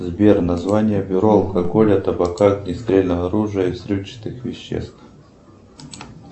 сбер название бюро алкоголя табака огнестрельного оружия и взрывчатых веществ